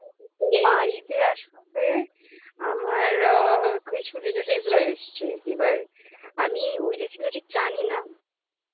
বাড়িতে আসবে আমার আ কিছু relatives রা এসছে এবার আমি ওই recipe টি জানি না আমি